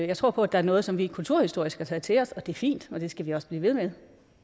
jeg tror på at der er noget som vi kulturhistorisk har taget til os og det er fint og det skal vi også blive ved med